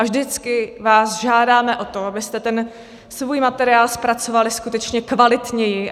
A vždycky vás žádáme o to, abyste ten svůj materiál zpracovali skutečně kvalitněji.